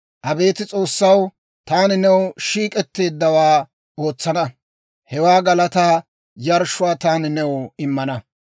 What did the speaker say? Abeet S'oossaw, taani, new shiik'etteeddawaa ootsana; Hewaa galataa yarshshuwaa taani new immana.